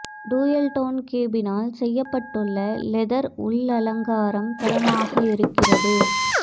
dual tone கேபினில் செய்யப்பட்டுள்ள leather உள்ளலங்காரம் தரமாக இருக்கிறது